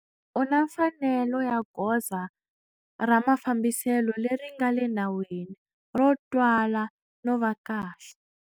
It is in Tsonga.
U na mfanelo ya goza ra mafambiselo leri nga le nawini, ro twala no va kahle.